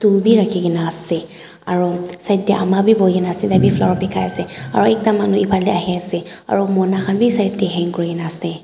phool bhi rakhi kina ase aru side te ama bhi bohe kina ase tar bhi flower bekai ase aru ekta manu efale ahe ase aru Mona khan bhi side te hang kori kina ase.